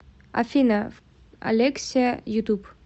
афина алексиа ютуб